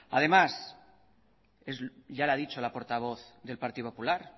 además ya lo ha dicho la portavoz del partido popular